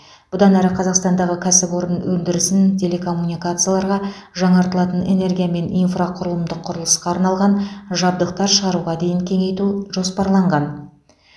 бұдан әрі қазақстандағы кәсіпорын өндірісін телекоммуникацияларға жаңартылатын энергия мен инфрақұрылымдық құрылысқа арналған жабдықтар шығаруға дейін кеңейту жоспарланған